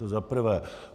To za prvé.